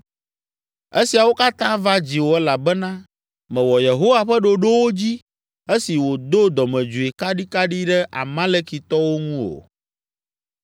Esiawo katã va dziwò elabena mèwɔ Yehowa ƒe ɖoɖowo dzi esi wòdo dɔmedzoe kaɖikaɖi ɖe Amalekitɔwo ŋu o.